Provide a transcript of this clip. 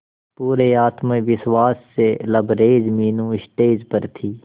पूरे आत्मविश्वास से लबरेज मीनू स्टेज पर थी